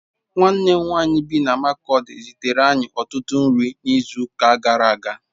Nwanne m nwanyị bi na Makurdi zitere anyị ọtụtụ nri n'izuụka gara aga